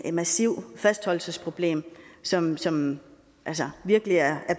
et massivt fastholdelsesproblem som som virkelig er